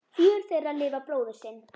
Fjögur þeirra lifa bróður sinn.